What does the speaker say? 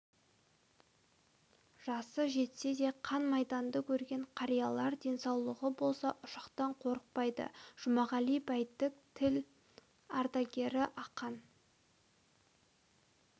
жасы жетсе де қан майданды көрген қариялар денсаулығы болса ұшақтан қорықпайды жұмағали бәйтік тыл ардагері ақан